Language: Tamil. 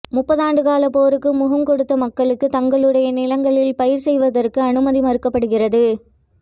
முப்பதாண்டுகால போருக்கு முகங்கொடுத்த மக்களுக்கு தங்களுடைய நிலங்களில் பயிர் செய்வதற்கு அனுமதி மறுக்கப்படுகிறது